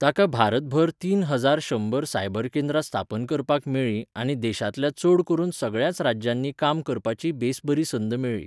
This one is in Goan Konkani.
ताका भारतभर तीन हजार शंबर सायबर केंद्रां स्थापन करपाक मेळ्ळीं आनी देशांतल्या चड करून सगळ्याच राज्यांनी काम करपाची बेस बरी संद मेळ्ळी.